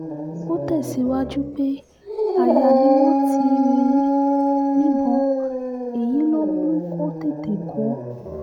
ó tẹ̀síwájú pé aya ni wọ́n ti yìn ín níbọn èyí ló mú kó tètè kú